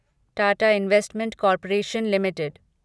Tata investment corporation limited